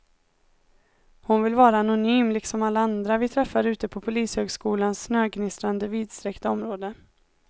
Hon vill vara anonym liksom alla andra vi träffar ute på polishögskolans snögnistrande vidsträckta område.